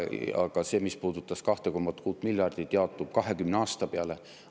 Aga see, mis puudutab 2,6 miljardit, jaotub 20 aasta peale.